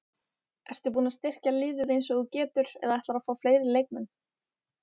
Ertu búinn að styrkja liðið eins og þú getur eða ætlarðu að fá fleiri leikmenn?